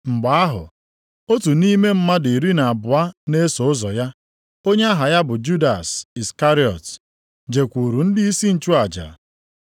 Mgbe ahụ otu nʼime mmadụ iri na abụọ na-eso ụzọ ya, onye aha ya bụ Judas Iskarịọt, jekwuuru ndịisi nchụaja.